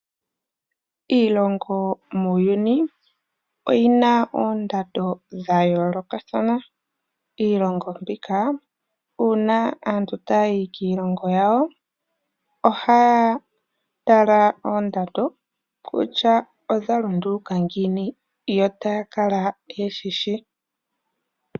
Iilongo muuyuni oyi na oondando dhayoolokathana. Uuna aantu tayi kiilongo yawo, ohaya tala kondando kutya odhalunduluka ngiini yo taya kala yeshishi.